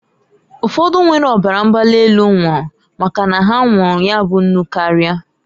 Ụfọdụ nwere ọbara mgbali elu nwụrụ, maka na ha nwụụrụ ya bụ nnụ karia.